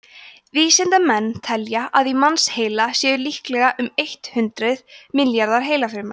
vísindamenn telja að í mannsheila séu líklega um eitt hundruð milljarðar heilafruma